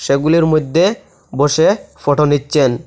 এগুলির মইধ্যে বসে ফটো নিচ্ছেন।